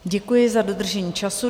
Děkuji za dodržení času.